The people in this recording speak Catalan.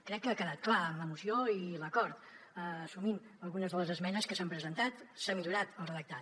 crec que ha quedat clar en la moció i l’acord assumint algunes de les esmenes que s’han presentat se n’ha millorat el redactat